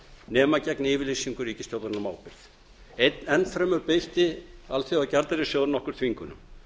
nema gegn yfirlýsingu ríkisstjórnarinnar um ábyrgð enn fremur beitti alþjóðagjaldeyrissjóðurinn okkur þvingunum